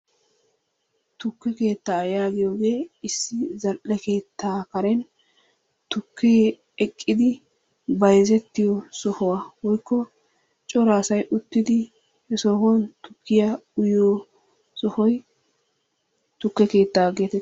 Tukke keettaa yaagiyogee issi zal'e keettaa karen tukkee eqqidi bayzzettiyo sohuwa woykko cora asay uttidi he sohuwan tukkiya uyyiyo sohoy tukke keettaa geetettees.